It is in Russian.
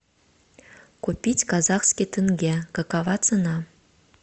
купить казахский тенге какова цена